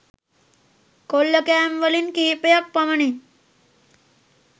කොල්ලකෑම්වලින් කිහිපයක් පමණි